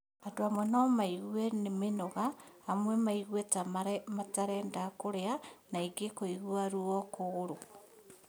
Andũ amwe nomaigue mĩnoga , amwe maigue ta matarenda kũrĩa na angĩ kũigua ruo kũgũrũ